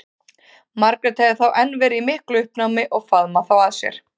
Margrét hafði þá enn verið í miklu uppnámi og faðmað þá að sér.